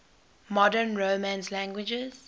modern romance languages